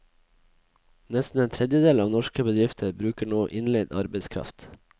Nesten en tredjedel av norske bedrifter bruker nå innleid arbeidskraft.